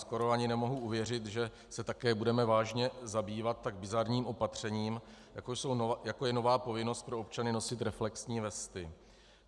Skoro ani nemohu uvěřit, že se také budeme vážně zabývat tak bizarním opatřením, jako je nová povinnost pro občany nosit reflexní vesty.